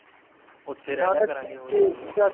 ਉੱਥੇ ਰਹਿ ਲਿਆ ਕਰਾਂਗੇ ਹੋਰ ਕੀ ਹੈ